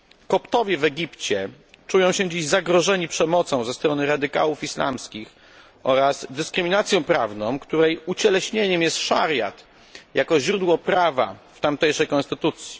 Koptowie w Egipcie czują się dziś zagrożeni przemocą ze strony radykałów islamskich oraz dyskryminacją prawną, której ucieleśnieniem jest szariat jako źródło prawa w tamtejszej konstytucji.